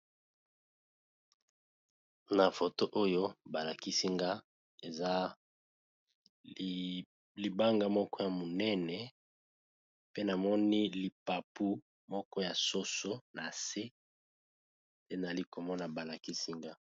Na foto oyo balakisi nga eza libanga moko ya monene pe namoni lipapu moko ya soso nase nde nazali komona balakisinga.